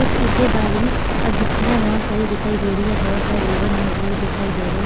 कुछ ईटे बालू और गिट्टियां बहुत सारी दिखाई दे रही है बहुत सारे लेबर मजदूर दिखाई दे रहे हैं.